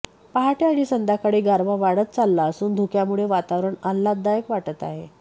पहाटे आणि संध्याकाळी गारवा वाढत चालला असून धुक्यामुळे वातावरण अल्हाददायक वाटत आहे